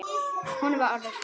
Honum er orðið kalt.